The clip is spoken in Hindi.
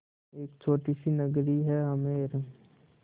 एक छोटी सी नगरी है आमेर